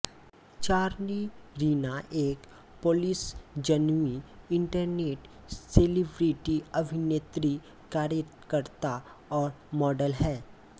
Charlie Rina एक पोलिशजन्मी internet celebrity अभिनेत्री कार्यकर्ता और मॉडल है